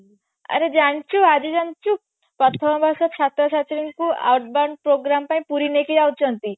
ଆରେ ଜାଣିଛୁ ଆଜି ଜାଣିଛୁ ପ୍ରଥମ ବର୍ଷ ଛାତ୍ରଛାତ୍ରୀ ଙ୍କୁ advance programme ପାଇଁ ପୁରୀ ନେଇକି ଯାଉଛନ୍ତି